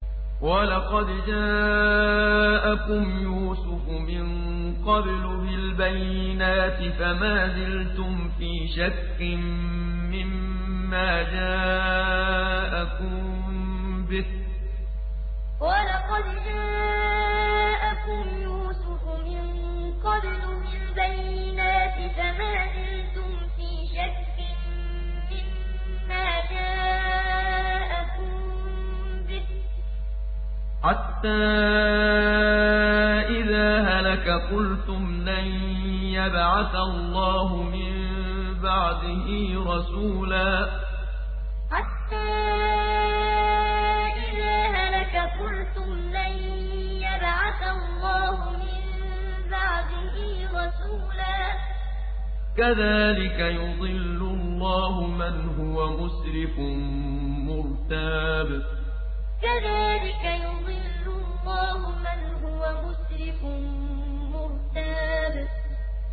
وَلَقَدْ جَاءَكُمْ يُوسُفُ مِن قَبْلُ بِالْبَيِّنَاتِ فَمَا زِلْتُمْ فِي شَكٍّ مِّمَّا جَاءَكُم بِهِ ۖ حَتَّىٰ إِذَا هَلَكَ قُلْتُمْ لَن يَبْعَثَ اللَّهُ مِن بَعْدِهِ رَسُولًا ۚ كَذَٰلِكَ يُضِلُّ اللَّهُ مَنْ هُوَ مُسْرِفٌ مُّرْتَابٌ وَلَقَدْ جَاءَكُمْ يُوسُفُ مِن قَبْلُ بِالْبَيِّنَاتِ فَمَا زِلْتُمْ فِي شَكٍّ مِّمَّا جَاءَكُم بِهِ ۖ حَتَّىٰ إِذَا هَلَكَ قُلْتُمْ لَن يَبْعَثَ اللَّهُ مِن بَعْدِهِ رَسُولًا ۚ كَذَٰلِكَ يُضِلُّ اللَّهُ مَنْ هُوَ مُسْرِفٌ مُّرْتَابٌ